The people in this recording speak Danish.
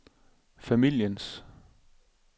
familiens